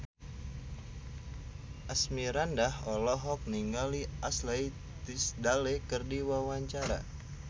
Asmirandah olohok ningali Ashley Tisdale keur diwawancara